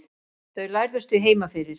þau lærðust því heima fyrir